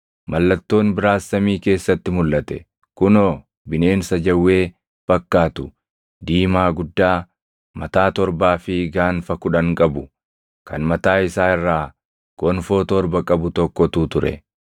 Mallattoon biraas samii keessatti mulʼate; kunoo, bineensa jawwee fakkaatu diimaa guddaa, mataa torbaa fi gaanfa kudhan qabu, kan mataa isaa irraa gonfoo torba qabu tokkotu ture.